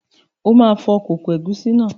O ma fọ kókó ègúsí náà.